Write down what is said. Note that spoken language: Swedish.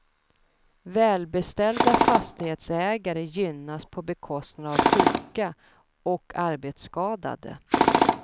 Välbeställda fastighetsägare gynnas på bekostnad av sjuka och arbetsskadade.